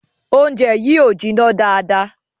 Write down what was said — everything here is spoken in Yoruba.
Oúnjẹ yìí o jìnnà dáadá